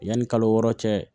Yanni kalo wɔɔrɔ cɛ